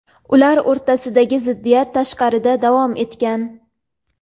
ular o‘rtasidagi ziddiyat tashqarida davom etgan.